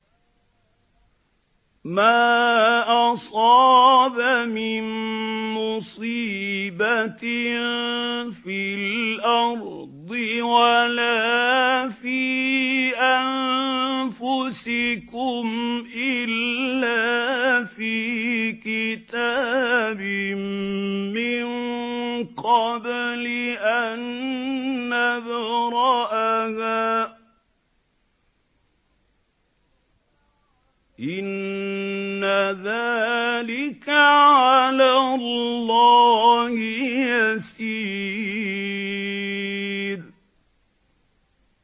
مَا أَصَابَ مِن مُّصِيبَةٍ فِي الْأَرْضِ وَلَا فِي أَنفُسِكُمْ إِلَّا فِي كِتَابٍ مِّن قَبْلِ أَن نَّبْرَأَهَا ۚ إِنَّ ذَٰلِكَ عَلَى اللَّهِ يَسِيرٌ